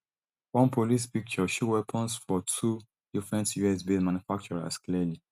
one police picture show weapons from two different us based manufacturers clearly